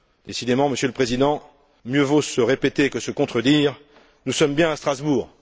Décidément, Monsieur le Président, mieux vaut se répéter que se contredire, nous sommes bien à Strasbourg.